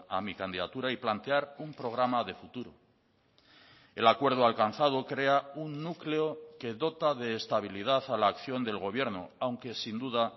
a mi candidatura y plantear un programa de futuro el acuerdo alcanzado crea un núcleo que dota de estabilidad a la acción del gobierno aunque sin duda